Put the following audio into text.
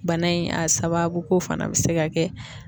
Bana in a sababuko fana be se ka kɛ